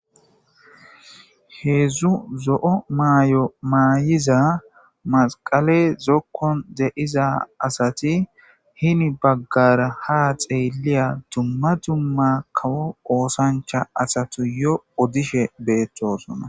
heedzdzu zo7o maay7o maayiza masqale zokkon de7iza asati hini baggara ha xeeliya dumma dumma kawo oosancha asatu yo odishe beettosona